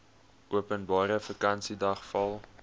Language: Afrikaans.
openbare vakansiedag val